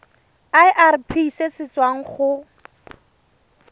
irp se se tswang go